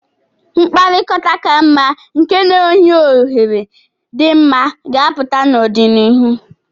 Mkpakọrịta ka mma nke na-enye ohere dị mma ga-apụta n'ọdịnihu.